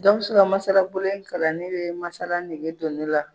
Gawusu ka masalabolo in kalanni de ye masala nege don ne la